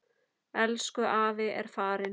Elsku afi er farinn.